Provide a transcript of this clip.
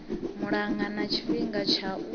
malugana na tshifhinga tsha u